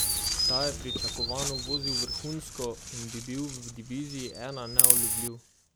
Ta je pričakovano vozil vrhunsko in bi bil v diviziji I neulovljiv.